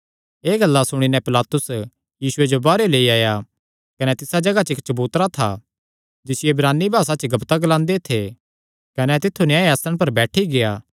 एह़ गल्लां सुणी नैं पिलातुस यीशुये जो बाहरेयो लेई आया कने तिसा जगाह इक्क चबूतरा था जिसियो इब्रानी भासा च गब्ब्ता ग्लांदे थे कने तित्थु न्याय आसणे पर बैठी गेआ